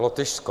Lotyšsko.